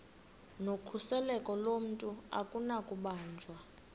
nokhuseleko lomntu akunakubanjwa